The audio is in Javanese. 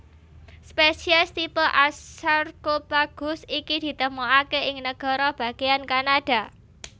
Spésiès tipe A Sarcopaghus iki ditemokaké ing nagara bagéyan Kanada